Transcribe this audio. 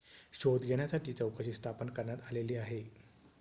शोध घेण्यासाठी चौकशी स्थापन करण्यात आलेली आहे